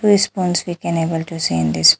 Two spoons we can able to see this --